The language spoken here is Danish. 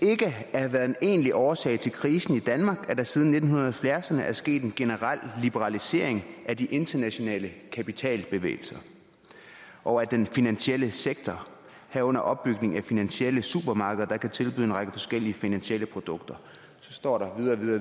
at have været en egentlig årsag til krisen i danmark at der siden nitten halvfjerds ’erne er sket en generel liberalisering af de internationale kapitalbevægelser og af den finansielle sektor herunder opbygning af finansielle supermarkeder der kan tilbyde en række forskellige finansielle produkter så står der